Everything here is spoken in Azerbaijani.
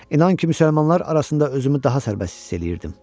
İnan ki, müsəlmanlar arasında özümü daha sərbəst hiss eləyirdim.